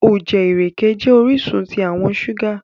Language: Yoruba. Òjẹ̀ irẹke̩ jẹ́ oriṣun tí àwọn ṣúgà.